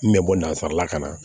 N bɛ bɔ nansarala ka na